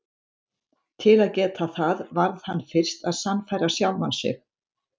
Til að geta það varð hann fyrst að sannfæra sjálfan sig.